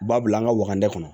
Ba bila an ka wagani kɔnɔ